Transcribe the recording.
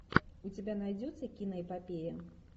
у тебя найдется киноэпопея